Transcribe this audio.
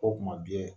O tuma